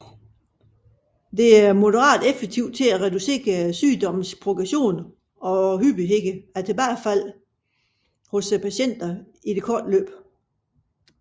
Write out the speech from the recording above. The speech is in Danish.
Det er moderat effektivt til at reducere sygdommens progression og hyppigheden af tilbagefald hos patienterne i det korte løb